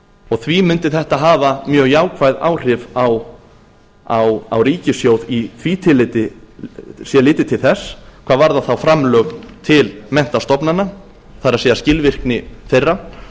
og því mundi þetta hafa mjög jákvæð áhrif á ríkissjóð í því tilliti sé litið til þess hvað varðar framlög til menntastofnana það er skilvirkni þeirra